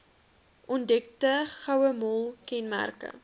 ontdekte gouemol kenmerk